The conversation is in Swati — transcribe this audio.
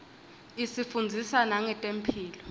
isifundzisa nangetemphilo